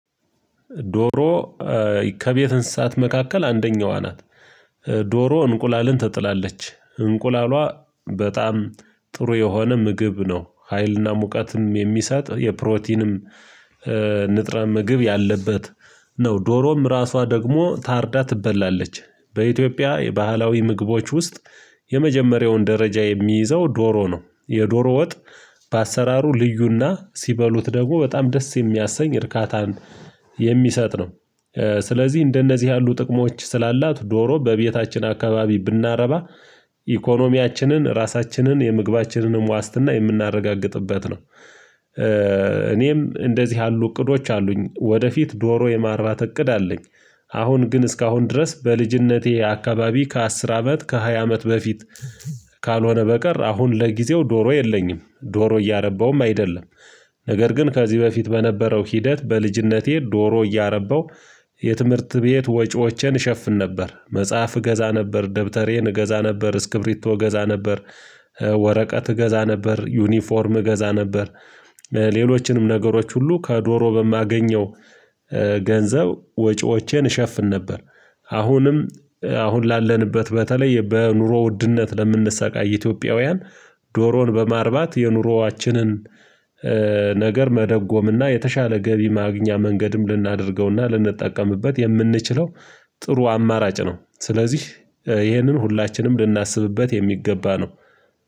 ዶሮ ከቤት እንስሳት መካከል አንደኛዋ ናት። ዶሮ እንቁላልን ትጥላለች እንቁላሏ በጣም ጥሩ የሆነ ምግብ ነው ሀይልና ሙቀትም የሚሰጥ የፕሮቲንም ንጥረት ምግብ ያለበት ነው። ዶሮም ራሷ ደግሞ ታርዳ ትበላለች። በኢትዮጵያ የባህላዊ ምግቦች ውስጥ የመጀመሪያውን ደረጃ የሚይዘው ዶሮ ነው። የዶሮ ወጥ በአሰራሩ ልዩና ሲበሉት ደግሞ በጣም ደስ የሚያሰኝ እርካታን የሚሰጥ ነው። ስለዚህ እንደነዚህ ያሉ ጥቅሞች ስላላት ዶሮ በቤታችን አካባቢ ብናረባ ኢኮኖሚያችንን ራሳችንን የምግባችንንም ዋስትና የምናረጋግጥበት ነው። እኔም እንደዚህ ያሉ እቅዶች አሉኝ ወደፊት ዶሮ የማርባት እቅድ አለኝ። አሁን ግን እስካሁን ድረስ በልጅነቴ አካባቢ ከአስር አመት ከሃያ አመት በፊት ካልሆነ በቀር አሁን ለጊዜው ዶሮ የለኝም ዶሮ እያረባውም አይደለም። ነገር ግን ከዚህ በፊት በነበረው ሂደት በልጅነቴ ዶሮ እያረባው የትምህርት ቤት ወጪዎችን እሸፍን ነበር መጽሐፍ እገዛ ነበር ደብተሬን እገዛ ነበር እስክብሪቶ እገዛ ነበር። ወረቀት እገዛ ነበር ዩኒፎርም እገዛ ነበር። ሌሎችንም ነገሮች ሁሉ ከዶሮ በማገኘው ገንዘብ ወጪዎቼን እሸፍን ነበር። አሁንም አሁን ላለንበት በተለይ በኑሮ ውድነት ለምንሰቃይ ኢትዮጵያውያን ዶሮን በማርባት የኑሮአችንን ነገር መደጎምና የተሻለ ገቢ ማግኛ መንገድም ልናደርገውና ልንጠቀምበት የምንችለው ጥሩ አማራጭ ነው። ስለዚህ ይሄንን ሁላችንም ልናስብበት የሚገባ ነው